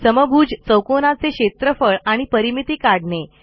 समभुज चौकोनाचे क्षेत्रफळ आणि परिमिती काढणे